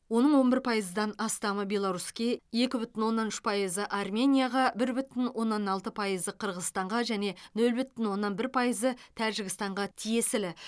оның он бір пайыздан астамы беларуське екі бүтін оннан үш пайызы арменияға бір бүтін оннан алты пайызы қырғызстанға және нөл бүтін оннан бір пайызы тәжікстанға тиесілі